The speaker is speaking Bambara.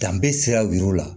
Danbe sira yiriw la